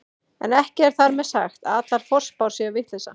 En ekki er þar með sagt að allar forspár séu vitleysa.